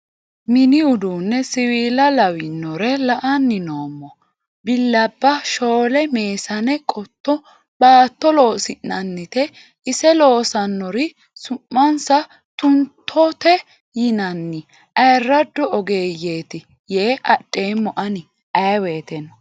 Mini uduune siwiila lawinore la"anni noommo billabba ,shole, meessane qotto baatto loosi'nannite ise loosanori su'mansa Tuntote yinanni ayirrado ogeeyeti yee adheemmo ani ayee woyteno.